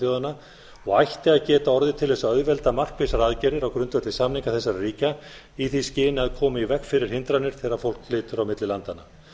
norðurlandaþjóðanna og ætti að geta orðið til þess að auðvelda markvissar aðgerðir á grundvelli samninga þessara ríkja í því skyni að koma í veg fyrir hindranir þegar fólk flytur á milli landanna